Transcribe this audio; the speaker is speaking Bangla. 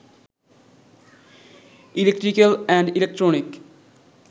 electrical and electronic